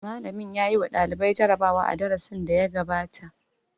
Malamin ya yi wa ɗalibai jarabawa a darasin da ya gabata.